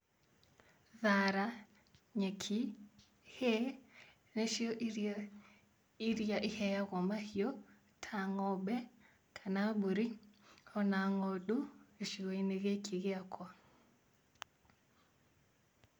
Thara, nyeki, hay, nĩcio irio iria iheagwo mahiũ ta ng'ombe kana mbũri ona ng'ondu gĩcigo-inĩ gĩkĩ gĩakwa